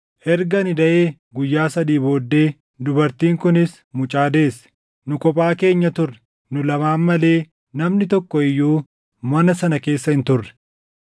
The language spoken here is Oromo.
Erga ani daʼee guyyaa sadii booddee dubartiin kunis mucaa deesse. Nu kophaa keenya turre; nu lamaan malee namni tokko iyyuu mana sana keessa hin turre.